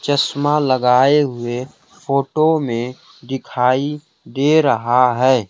चश्मा लगाए हुए फोटो में दिखाई दे रहा है।